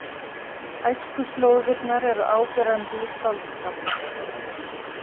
Æskuslóðirnar eru áberandi í skáldskap hans.